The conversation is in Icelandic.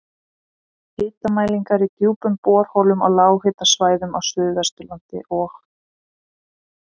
Hitamælingar í djúpum borholum á lághitasvæðum á Suðvesturlandi og